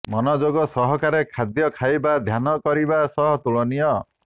ମନଯୋଗ ସହକାରେ ଖାଦ୍ୟ ଖାଇବା ଧ୍ୟାନ କରିବା ସହ ତୁଳନୀୟ